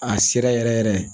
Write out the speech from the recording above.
A sera yɛrɛ yɛrɛ yɛrɛ